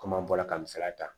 Komi an bɔra ka misaliya ta